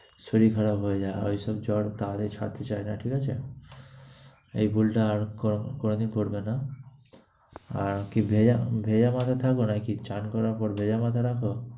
শরীর খারাপ হয়ে যায়। ঐসব জ্বর তাহলেই ছাড়তে চায় না, ঠিক আছে? এই ভুলটা আর কোনোদিন করবে না। আর কি ভেজা ভেজার মধ্যে থাকো নাকি স্নান করার পর ভেজা মাথা রাখো?